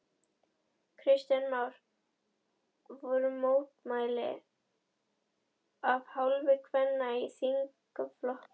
Kristján Már: Voru mótmæli af hálfu kvenna í þingflokknum?